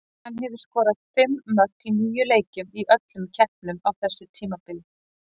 Hann hefur skorað fimm mörk í níu leikjum í öllum keppnum á þessu tímabili.